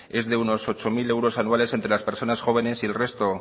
es de unos ocho mil euros anuales entre las personas jóvenes y el resto